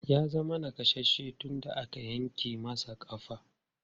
Ya zama nakasasshe tun da aka yanke masa ƙafa.